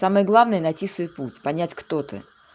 самое главное найти свой путь понять кто ты